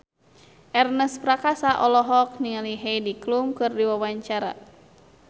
Ernest Prakasa olohok ningali Heidi Klum keur diwawancara